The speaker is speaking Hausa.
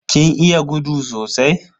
Kin iya gudu sosai?